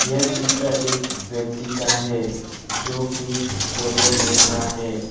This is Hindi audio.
यह चित्र एक व्यक्ति का है जो कि फोटो ले रहा है।